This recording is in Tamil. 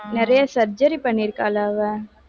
நிறைய surgery பண்ணியிருக்கால்ல அவ